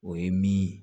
O ye min